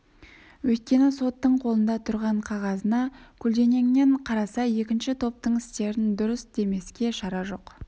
өйткені соттың қолында тұрған қағазына көлденеңнен қараса екінші топтың істерін дұрыс демеске шара жоқ